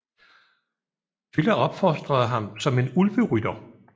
Tylla opfostrede ham som en Ulverytter